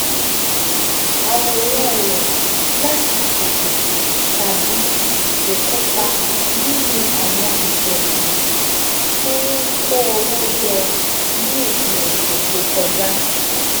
àwòrán rẹ̀ láti ṣètò tàbí kó kópa nínú àwọn ìṣẹ̀lẹ̀ tó ń kó owó jọ ní òpin ọ̀sẹ̀ tó kọjá